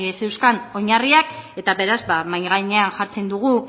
zeuzkan oinarriak eta beraz mahai gainean jartzen dugu